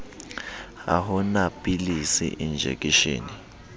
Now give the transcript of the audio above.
ha ho na pilisi enjekeshene